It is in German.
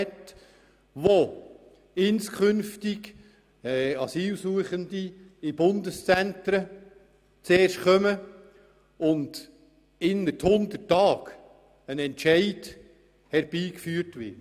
Diese sieht vor, dass künftig Asylsuchende in Bundeszentren aufgenommen werden und innert 100 Tagen ein Entscheid herbeigeführt wird.